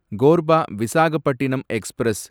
Korba Visakhapatnam express